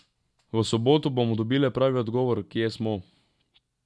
V soboto bomo dobile pravi odgovor, kje smo.